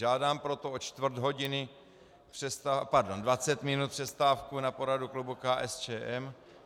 Žádám proto o čtvrt hodiny, pardon 20 minut přestávku na poradu klubu KSČM.